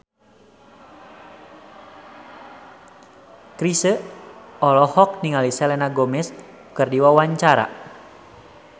Chrisye olohok ningali Selena Gomez keur diwawancara